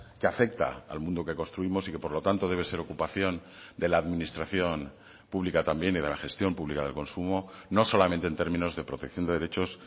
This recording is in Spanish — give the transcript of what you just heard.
que afecta al mundo que construimos y que por lo tanto debe ser ocupación de la administración pública también y de la gestión pública de consumo no solamente en términos de protección de derechos